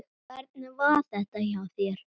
Hvernig var þetta hjá þér?